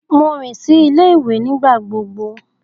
Mo rin si ile-iwe nigbagbogbo.